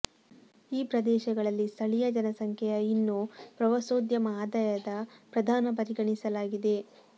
ಈ ಪ್ರದೇಶಗಳಲ್ಲಿ ಸ್ಥಳೀಯ ಜನಸಂಖ್ಯೆಯ ಇನ್ನೂ ಪ್ರವಾಸೋದ್ಯಮ ಆದಾಯದ ಪ್ರಧಾನ ಪರಿಗಣಿಸಲಾಗಿದೆ